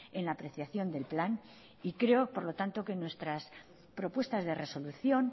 en la apreciación del plan y creo por lo tanto nuestras propuestas de resolución